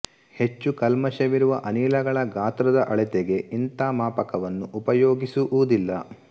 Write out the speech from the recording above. ಹೆಚ್ಚು ಕಲ್ಮಷವಿರುವ ಅನಿಲಗಳ ಗಾತ್ರದ ಅಳತೆಗೆ ಇಂಥ ಮಾಪಕವನ್ನು ಉಪಯೋಗಿಸುವುದಿಲ್ಲ